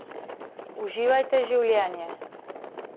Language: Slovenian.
Uživajte življenje.